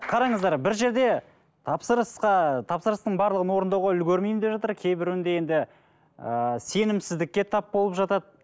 қараңыздар бір жерде тапсырысқа тапсырыстың барлығын орындауға үлгірмеймін деп жатыр кейбіреуінде енді ыыы сенімсіздікке тап болып жатады